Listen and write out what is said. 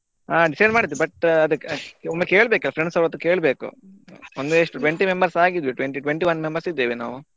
ಆ decide ಮಾಡಿದೆ but ಅದ್ಕೆ ಒಮ್ಮೆ ಕೇಳ್ಬೇಕ್ friends ಹತ್ರ ಕೇಳ್ಬೇಕು ಒಂದು ಎಷ್ಟು twenty members ಆಗಿದ್ವಿ twenty twenty-one members ಇದ್ದೇವೆ ನಾವು.